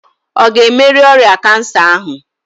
Ọ ga-emerị ọrịa kansa ahụ?